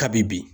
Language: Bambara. Kabi bi